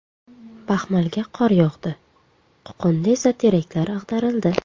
Baxmalga qor yog‘di, Qo‘qonda esa teraklar ag‘darildi .